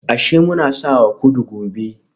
Ashe muna sawa kudu gobe